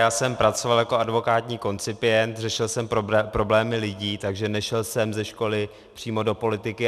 Já jsem pracoval jako advokátní koncipient, řešil jsem problémy lidí, takže nešel jsem ze školy přímo do politiky.